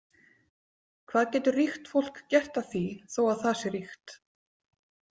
Hvað getur ríkt fólk gert að því þó að það sé ríkt?